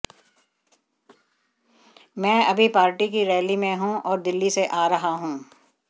मैं अभी पार्टी की रैली में हूं और दिल्ली से आ रहा हूं